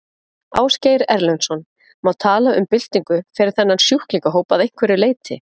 Ásgeir Erlendsson: Má tala um byltingu fyrir þennan sjúklingahóp að einhverju leyti?